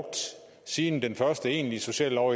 sige i den første egentlige sociallov